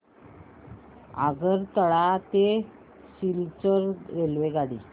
आगरतळा ते सिलचर रेल्वेगाडी